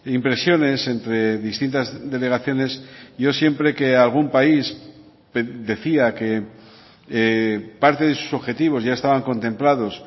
impresiones entre distintas delegaciones yo siempre que algún país decía que parte de sus objetivos ya estaban contemplados